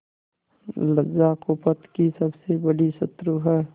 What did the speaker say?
लज्जा कुपथ की सबसे बड़ी शत्रु है